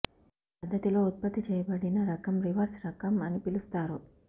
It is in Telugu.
ఈ పద్ధతిలో ఉత్పత్తి చేయబడిన రకం రివర్స్ రకం అని పిలుస్తారు